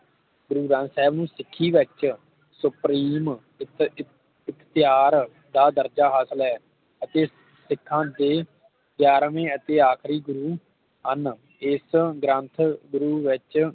ਗੁਰੂ ਗ੍ਰੰਥ ਸਾਹਿਬ ਸਿੱਖੀ ਵਿਚ ਸੁਪਰੀਮ ਇਖ ਇਖ਼ਤਿਯਾਰ ਦਾ ਦਰਜ ਹਾਸਲ ਹੈ ਅਤੇ ਸਿੱਖਾਂ ਦੇ ਗ੍ਯਾਰਵੇ ਅਤੇ ਆਖਰੀ ਗੁਰੂ ਹਨ ਇਸ ਗ੍ਰੰਥ ਗੁਰੂ ਵਿਚ